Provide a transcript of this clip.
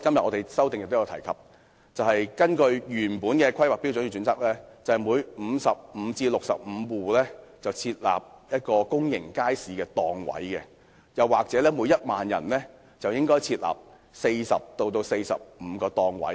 我在修正案也提及，根據原來的《規劃標準》，每55至65戶家庭便應設立一個公營街市檔位，或每1萬人應設立約40至45個檔位。